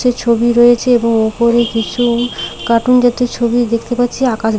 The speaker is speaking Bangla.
যে ছবি রয়েছে এবং ওপরে কিছু কার্টুন জাতীয় ছবি দেখতে পাচ্ছি আকাশ--